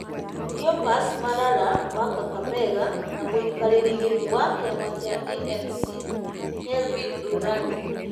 Cleophas Malalah wa Kakamega na mũikarĩri gĩtĩ wa kĩama kĩa ANC Kelvin Lunani.